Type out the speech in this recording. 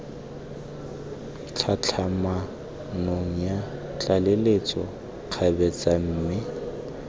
tlhatlhamanong ya tlaleletso kgabetsa mme